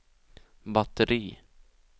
batteri